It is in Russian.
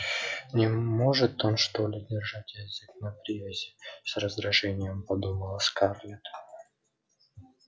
не может он что ли держать язык на привязи с раздражением подумала скарлетт